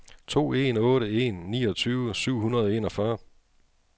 to en otte en niogtyve syv hundrede og enogfyrre